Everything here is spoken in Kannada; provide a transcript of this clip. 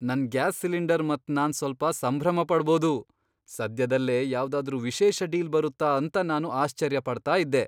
ನನ್ ಗ್ಯಾಸ್ ಸಿಲಿಂಡರ್ ಮತ್ ನಾನ್ ಸ್ವಲ್ಪ ಸಂಭ್ರಮ ಪಡ್ಬೋದು! ಸದ್ಯದಲ್ಲೇ ಯಾವ್ದಾದ್ರು ವಿಶೇಷ ಡೀಲ್ ಬರುತ್ತಾ ಅಂತ ನಾನು ಆಶ್ಚರ್ಯ ಪಡ್ತಾ ಇದ್ದೆ.